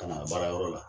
Ka na baarayɔrɔ la